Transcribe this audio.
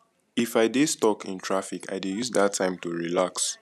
if i dey stuck in traffic i dey use that time to relax